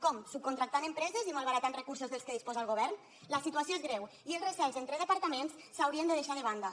com subcontractant empreses i malbaratant recursos dels que disposa el govern la situació és greu i els recels entre departaments s’haurien de deixar de banda